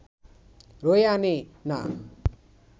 বয়ে আনে না